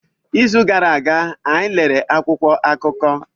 N'izu gara aga, anyị lere akwụkwọ akụkọ.